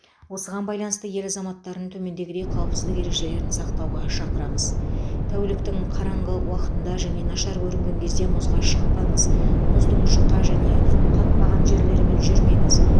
осыған байланысты ел азаматтарын төмендегідей қауіпсіздік ережелерін сақтауға шақырамыз тәуліктің қараңғы уақытында және нашар көрінген кезде мұзға шықпаңыз мұздың жұқа және қатпаған жерлерімен жүрмеңіз